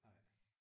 Nej